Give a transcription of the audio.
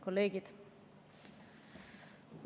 Kolleegid!